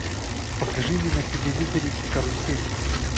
покажи мне на телевизоре карусель